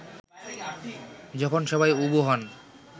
যখন সবাই উবু হন